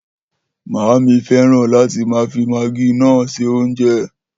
Maami feran láti máa fi magí known se oúnjẹ.